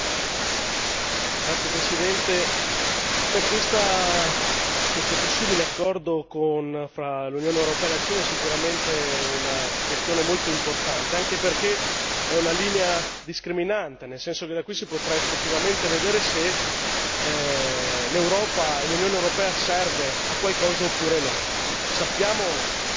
Signor Presidente, onorevoli colleghi, questo possibile accordo tra l'Unione europea e la Cina è sicuramente una questione molto importante, anche perché è una linea discriminante, nel senso che da qui si potrà effettivamente vedere se l'Europa e l'Unione europea serve a qualcosa oppure no.